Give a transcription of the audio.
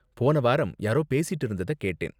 போன வாரம் யாரோ பேசிட்டு இருந்தத கேட்டேன்.